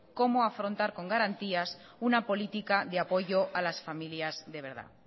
cómo afrontar con garantías una política de apoyo a las familias de verdad